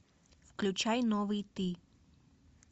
включай новый ты